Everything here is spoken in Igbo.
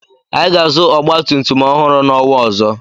Anyị ga-azụ ọgbatumtum ọhụrụ n'ọnwa ọzọ.